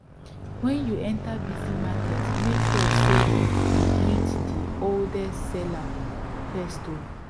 wen you enter busy market make sure say you greet di oldest seller first o